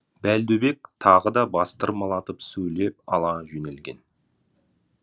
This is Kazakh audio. бәлдубек тағы да бастырмалатып сөйлеп ала жөнелген